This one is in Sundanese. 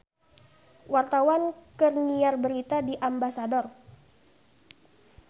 Wartawan keur nyiar berita di Ambasador